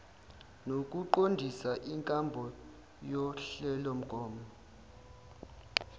nokuqondisa inkambo yohlelomgomo